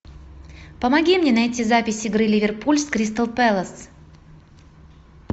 помоги мне найти запись игры ливерпуль с кристал пэлас